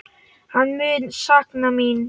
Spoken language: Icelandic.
Hann mun sakna mín.